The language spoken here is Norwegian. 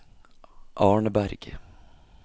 Arneberg